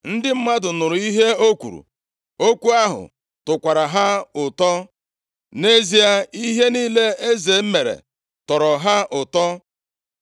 Ndị mmadụ nụrụ ihe o kwuru, okwu ahụ tọkwara ha ụtọ. Nʼezie, ihe niile eze mere tọrọ ha ụtọ.